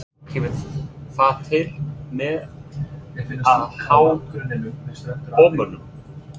Kemur það til með að há bormönnum?